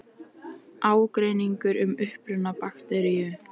Ágreiningur um uppruna bakteríu